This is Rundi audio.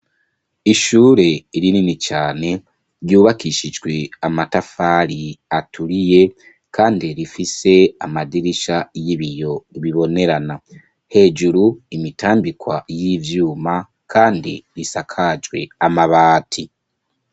Ishure rinini cane, ryubakishijwe amatafari aturiye, kandi rifise amadirisha y'ibiyo bibonerana hejuru, imitambikwa y'ivyuma, kandi bisakajwe amabati.